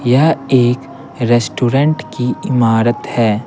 यह एक रेस्टोरेंट की इमारत है।